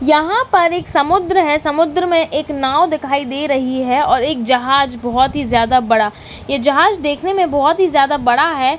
यहां पर इक समुद्र है समुद्र में एक नाव दिखाई दे रही हैं और एक जहाज बहोत ही ज्यादा बड़ा ये जहाज देखने में बहोत ही ज्यादा बड़ा है।